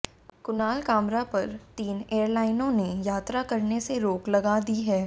कुणाल कामरा पर तीन एअरलाइनों ने यात्रा करने से रोक लगा दी है